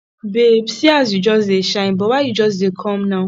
babe see as you just dey shine but why you just dey come now